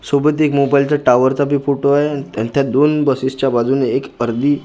सोबत एक मोबाईलचा टॉवरचा बी फोटो आहे आणि त्या दोन बसेसच्या बाजूने एक अर्धी --